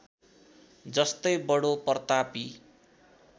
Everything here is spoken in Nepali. जस्तै बडो प्रतापी